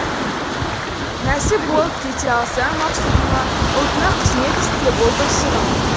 нәсіп болып кете алсаң мақсұтыңа ұлтыңа қызмет істе бұл бір сырым